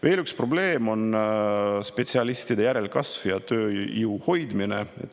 Veel üks probleem on spetsialistide järelkasv ja tööjõu hoidmine.